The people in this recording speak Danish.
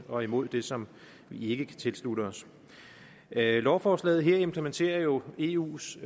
og imod det som vi ikke kan tilslutte os lovforslaget her implementerer jo eus